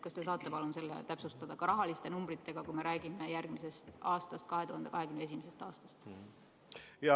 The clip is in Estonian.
Kas te saate palun täpsustada ka rahaliselt, numbritega, kui me räägime järgmisest, 2021. aastast?